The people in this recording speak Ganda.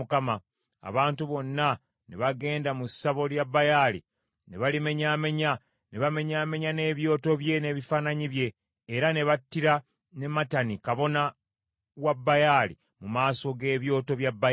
Abantu bonna ne bagenda mu ssabo lya Baali ne balimenyaamenya, ne bamenyaamenya n’ebyoto bye n’ebifaananyi bye, era ne battira ne Matani kabona wa Baali mu maaso g’ebyoto bya Baali.